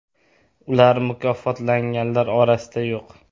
Ular mukofotlanganlar orasida yo‘q.